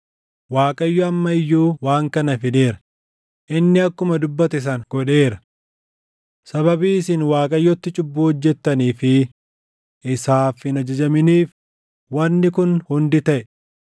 Waaqayyo amma iyyuu waan kana fideera; inni akkuma dubbate sana godheera. Sababii isin Waaqayyotti cubbuu hojjettanii fi isaaf hin ajajaminiif wanni kun hundi taʼe.